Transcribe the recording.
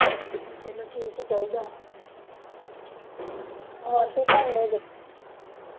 ਚਲੋ ਠੀਕ ਈ ਚਾਹੀਦਾ ਹੋਰ ਕੀ ਕਰਨ ਦੇ ਜੇ